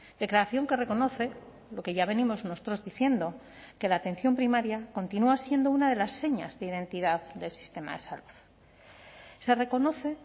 declaración que reconoce lo que ya venimos nosotros diciendo que la atención primaria continúa siendo una de las señas de identidad del sistema de salud se reconoce